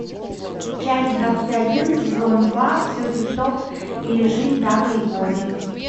часть двадцать один сезон два все тип топ или жизнь зака и коди